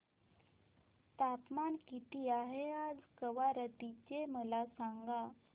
तापमान किती आहे आज कवारत्ती चे मला सांगा